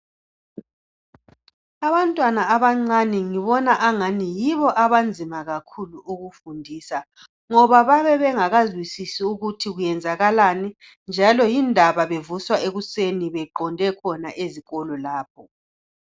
Abantwana abancani ngibona angani yibo abanzima kakhulu ukufundisa .Ngoba bayabe bengakazwisisi ukuthi kwenzakalani .Njalo yindaba bevuswa ekuseni beqonde khona ezikolo lapho .